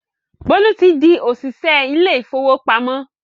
Bólú ti di òṣìṣẹ́ ilé ìfowópamọ́